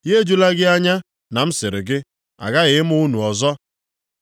Ya ejula gị anya na m sịrị gị, ‘Agaghị ịmụ unu ọzọ.’